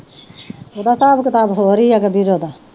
ਉਹਦਾ ਹਿਸਾਬ ਕਿਤਾਬ ਹੋਰ ਹੀ ਹੈ